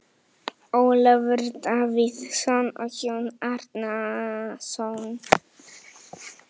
Ólafur Davíðsson og Jón Árnason.